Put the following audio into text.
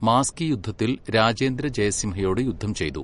മാസ്കി യുദ്ധത്തിൽ രാജേന്ദ്ര ജയസിംഹയോട് യുദ്ധം ചെയ്തു.